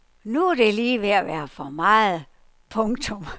Nu er det lige ved at være for meget. punktum